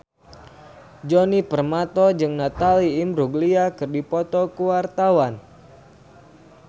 Djoni Permato jeung Natalie Imbruglia keur dipoto ku wartawan